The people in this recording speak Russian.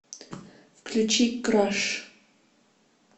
включи краш